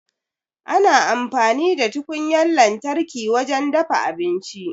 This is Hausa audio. Ana amfani da tukunyar lantarki wajen dafa abinci.